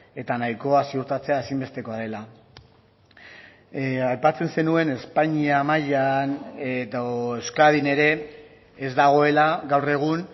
eta nahikoa ziurtatzea ezinbestekoa dela aipatzen zenuen espainia mailan edo euskadin ere ez dagoela gaur egun